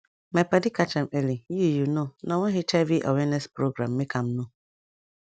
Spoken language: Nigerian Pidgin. my padi catch am early you you know na one hiv awareness program make am know